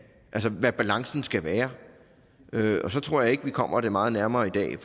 hvad balancen skal være og så tror jeg ikke at vi kommer det meget nærmere i dag